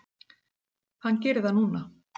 Hann gerir það núna.